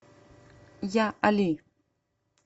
я али